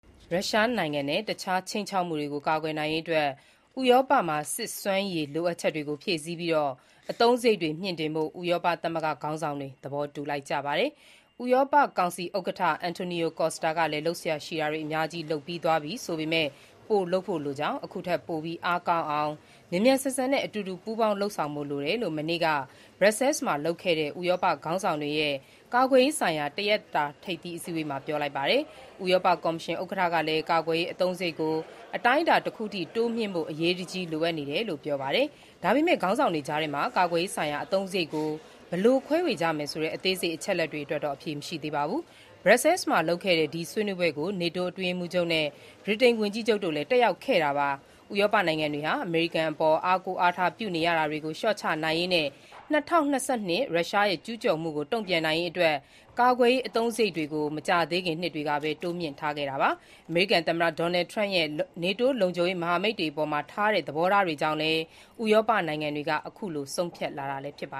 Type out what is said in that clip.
ရုရှားနိုင်ငံနဲ့ တခြားခြိမ်းခြောက်မှုတွေကာကွယ်နိုင်ဖို့ ဥရောပမှာ စစ်ရေးစွမ်းရည်လိုအပ်ချက်တွေ ဖြည့်ဆည်းပြီး အသုံးစရိတ်တွေမြှင့်တင်ဖို့ ဥရောပသမဂ္ဂခေါင်းဆောင်တွေ သဘောတူလိုက်ကြပါ တယ်။ ဥရောပကောင်စီဥက္ကဋ္ဌ Antonio Costa (အန်တိုနီယို ကိုစတာ) ကလည်း လုပ်စရာရှိတာတွေ အများကြီး လုပ်သွားပြီးပြီဆိုပေမဲ့ ပိုလုပ်ဖို့လိုကြောင်း ခုထက်ပိုပြီး အားကောင်းအောင် မြန်မြန်ဆန်ဆန်နဲ့ အတူတူ ပူးပေါင်းလုပ်ဆောင်ဖို့ လိုတယ်လို့ မနေ့က Brussels မှာလုပ်ခဲ့တဲ့ ဥရောပ ခေါင်းဆောင်တွေရဲ့ ကာကွယ်ရေးဆိုင်ရာ တရက်တာ ထိပ်သီးအစည်းအဝေးမှာ ပြောလိုက်ပါတယ်။ ဥရောပကော်မရှင် ဥက္ကဋ္ဌ Ursula von der Leyen (အာဆယ်လာ ဗွန်ဒါ လန်း) ကလည်း ကာကွယ်ရေးအသုံးစရိတ်ကို အတိုင်းအတာတခုအထိ တိုးမြှင့်ဖို့ အရေးတကြီး လိုအပ်နေတယ်လို့ ပြောပါတယ်။ ဒါပေမဲ့ ခေါင်းဆောင်တွေကြားထဲမှာ ကာကွယ်ရေးဆိုင်ရာ အသုံးစရိတ်ကို ဘယ်လို ခွဲဝေကြမယ်ဆိုတဲ့ အသေးစိတ်အချက်အလက်အတွက်တော့အဖြေမရှိသေးပါဘူး။ Brussels မှာလုပ်ခဲ့တဲ့ ဒီဆွေးနွေးပွဲကို NATO အတွင်းရေးမှူးချုပ် Mark Rutte (မတ်ခ် ရူတာ) နဲ့ ဗြိတိန် ဝန်ကြီးချုပ်Keir Starmer (ကီရာ စတာမား) တို့လည်း တက်ရောက်ခဲ့တာပါ။ ဥရောပနိုင်ငံတွေဟာ အမေရိကန်အပေါ် အားကိုးအားထားပြုနေရတာတွေကို လျှော့ချနိုင်ရေးနဲ့ ရုရှားရဲ့ ကျူးကျော်မှုကို တုံ့ပြန်ရေးအတွက် ကာကွယ်ရေး အသုံးစရိတ်တွေကို မကြာသေးခင်နှစ်တွေကပဲ တိုးမြှင့်ထားကြတာပါ။ အမေရိကန်သမ္မတ Donald Trump ရဲ့ နေတိုးလုံခြုံရေးမဟာမိတ်အဖွဲ့အပေါ်ထားတဲ့ သဘောထားတွေကြောင့်လည်း ဥရောပနိုင်ငံတွေက အခုလို ဆုံးဖြတ်လာကြတာလည်း ဖြစ်ပ